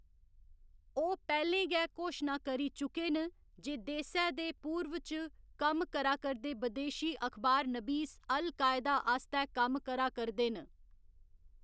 ओह्‌‌ पैह्‌लें गै घोशना करी चुके न जे देसै दे पूर्व च कम्म करा करदे बदेशी अखबारनबीस अल कायदा आस्तै कम्म करा करदे न।